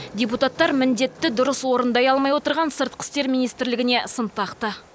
депутаттар міндетті дұрыс орындай алмай отырған сыртқы істер министрлігіне сын тақты